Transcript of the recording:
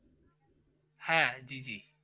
হ্যাঁ! জি জি।